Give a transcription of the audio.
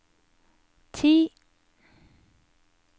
ti